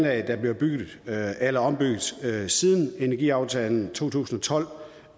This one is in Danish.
er blevet bygget eller ombygget siden energiaftalen to tusind og tolv